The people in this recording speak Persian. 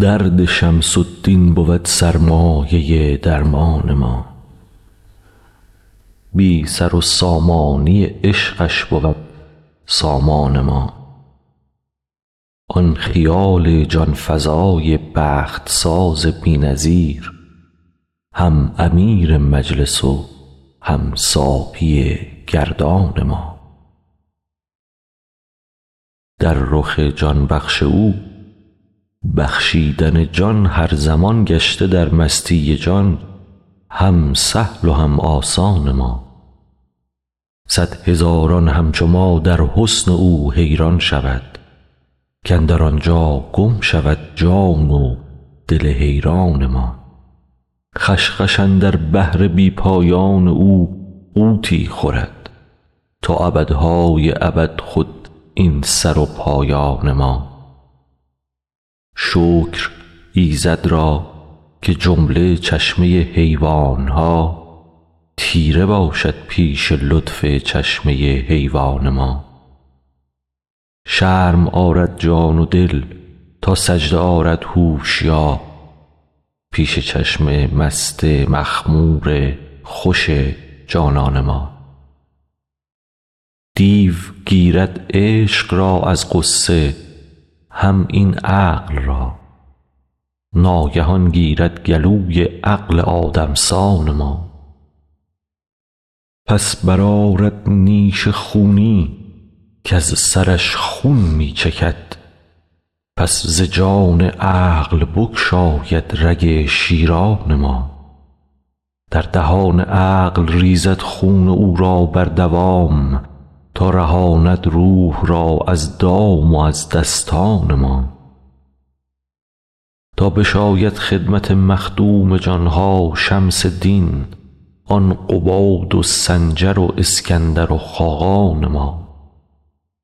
درد شمس الدین بود سرمایه درمان ما بی سر و سامانی عشقش بود سامان ما آن خیال جان فزای بخت ساز بی نظیر هم امیر مجلس و هم ساقی گردان ما در رخ جان بخش او بخشیدن جان هر زمان گشته در مستی جان هم سهل و هم آسان ما صد هزاران همچو ما در حسن او حیران شود کاندر آن جا گم شود جان و دل حیران ما خوش خوش اندر بحر بی پایان او غوطی خورد تا ابدهای ابد خود این سر و پایان ما شکر ایزد را که جمله چشمه حیوان ها تیره باشد پیش لطف چشمه حیوان ما شرم آرد جان و دل تا سجده آرد هوشیار پیش چشم مست مخمور خوش جانان ما دیو گیرد عشق را از غصه هم این عقل را ناگهان گیرد گلوی عقل آدم سان ما پس برآرد نیش خونی کز سرش خون می چکد پس ز جان عقل بگشاید رگ شیران ما در دهان عقل ریزد خون او را بردوام تا رهاند روح را از دام و از دستان ما تا بشاید خدمت مخدوم جان ها شمس دین آن قباد و سنجر و اسکندر و خاقان ما